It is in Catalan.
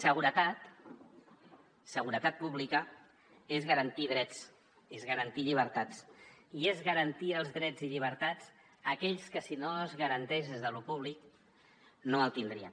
seguretat seguretat pública és garantir drets és garantir llibertats i és garantir els drets i llibertats a aquells que si no es garanteix des d’allò públic no els tindrien